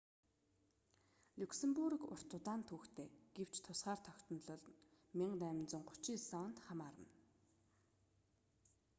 люксембург урт удаан түүхтэй гэвч тусгаар тогтнол нь 1839 онд хамаарна